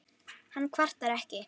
Hann kvartar ekki.